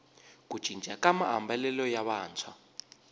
ku cinca ka maambalelo ya vantshwa